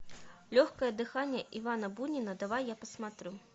легкое дыхание ивана бунина давай я посмотрю